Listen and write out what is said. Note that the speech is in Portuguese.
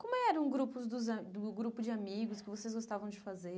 Como eram o grupos dos a o grupo de amigos o que vocês gostavam de fazer?